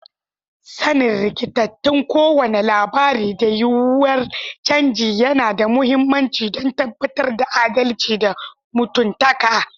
Sanin rikitattun kowane lamari da yiwuwar canji yana da mahimmanci don tabbatar da adalci da mutuntaka.